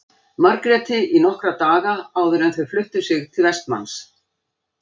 Margréti í nokkra daga áður en þau fluttu sig til Vestmanns.